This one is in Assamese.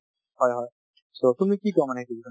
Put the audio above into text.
হয় হয়, so তুমি কি কোৱা মানে এইটো বিষয়ত?